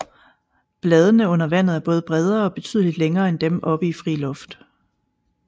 Bladene under vandet er både bredere og betydeligt længere end dem oppe i fri luft